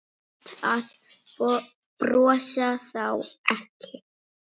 Best að brosa þá ekki.